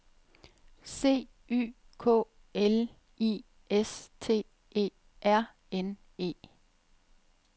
C Y K L I S T E R N E